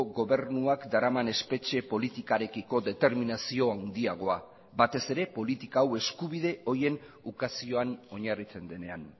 gobernuak daraman espetxe politikarekiko determinazio handiagoa batez ere politika hau eskubide horien ukazioan oinarritzen denean